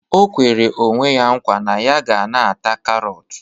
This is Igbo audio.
O kwere onwe ya nkwa na ya ga na-ata karọt